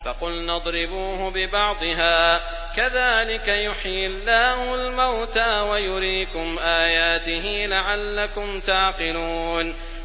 فَقُلْنَا اضْرِبُوهُ بِبَعْضِهَا ۚ كَذَٰلِكَ يُحْيِي اللَّهُ الْمَوْتَىٰ وَيُرِيكُمْ آيَاتِهِ لَعَلَّكُمْ تَعْقِلُونَ